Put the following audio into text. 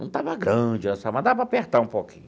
Não estava grande, mas dava para apertar um pouquinho.